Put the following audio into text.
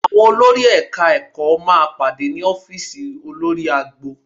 Àwọn olórí Ẹ̀ka-ẹ̀kọ́ máa pàdé ní ọ́fíìsì olórí agbo